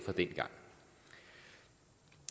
ligger